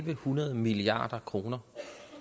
en hundrede milliard kroner